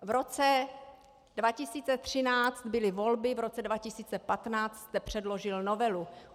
V roce 2013 byly volby, v roce 2015 jste předložil novelu.